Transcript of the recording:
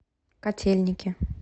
котельники